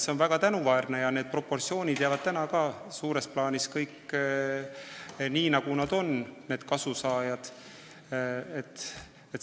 See on väga tänuväärne ja need proportsioonid jäävad suures plaanis kõik niimoodi, nagu nad kasusaajate vahel on.